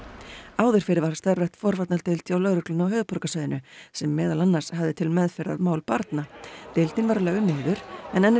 áður fyrr var starfrækt forvarnardeild hjá lögreglunni á höfuðborgarsvæðinu sem meðal annars hafði til meðferðar mál barna deildin var lögð niður en enn er